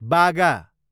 बागा